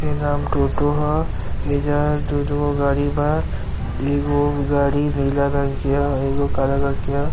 ई नाम टोटो ह। एईजा दु दु गो गाड़ी बा। एगो गाड़ी नीला रंग के ह एगो काला रंग के ह।